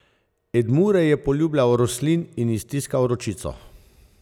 Edmure je poljubljal Roslin in ji stiskal ročico.